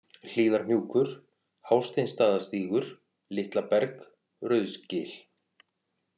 Hlíðarhnjúkur, Hásteinsstaðastígur, Litlaberg, Rauðsgil